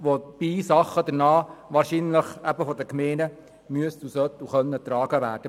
Dabei müssten oder sollten wahrscheinlich gewisse Dinge von den Gemeinden getragen werden.